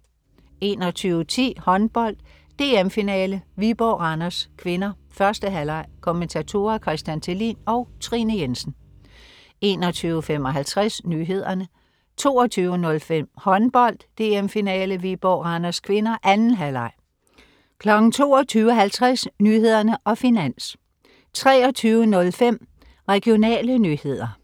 21.10 Håndbold. DM-finale: Viborg-Randers (k), 1. halvleg. Kommentatorer: Christian Thelin og Trine Jensen 21.55 Nyhederne 22.05 Håndbold. DM-finale: Viborg-Randers (k) , 2. halvleg 22.50 Nyhederne og Finans 23.05 Regionale nyheder